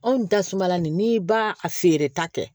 Anw tasuma nin n'i b'a a feereta kɛ